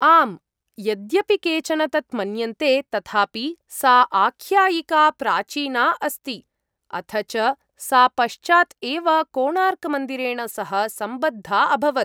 आम्, यद्यपि केचन तत् मन्यन्ते तथापि सा आख्यायिका प्राचीना अस्ति, अथ च सा पश्चात् एव कोणार्कमन्दिरेण सह सम्बद्धा अभवत्।